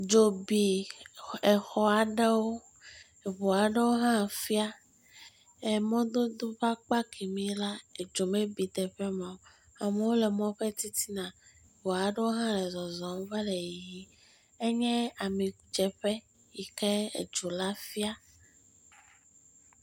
Dzo bi exɔ aɖewo. Eʋu aɖewo hã fia. Emɔdodo ƒe akpa kemi la, edzo mebi teƒe ma o. Amewo le mɔ ƒe titina. Ʋu aɖewo hã le zɔzɔm vale yiyi. Enye amidzeƒe yi ke edzo la fia.